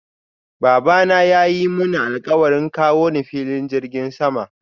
Babana yayi Muni alkawarin kawo ni filin jirgin sama.